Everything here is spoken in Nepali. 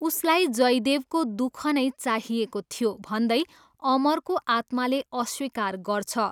उसलाई जयदेवको दुख नै चाहिएको थियो भन्दै अमरको आत्माले अस्वीकार गर्छ।